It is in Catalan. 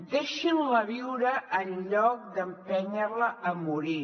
deixin la viure en lloc d’empènyer la a morir